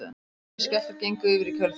Minni skjálftar gengu yfir í kjölfarið